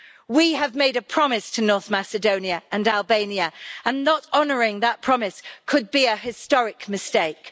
We have made a promise to North Macedonia and Albania and not honouring that promise could be a historic mistake.